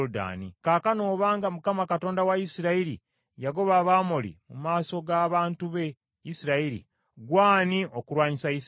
“ ‘Kaakano obanga Mukama Katonda wa Isirayiri yagoba Abamoli mu maaso g’abantu be Isirayiri, ggwe ani okulwanyisa Isirayiri?